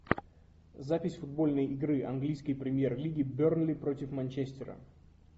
запись футбольной игры английской премьер лиги бернли против манчестера